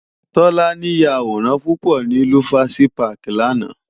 Tolani yá àwórán púpò ni Lufasi pàkí làná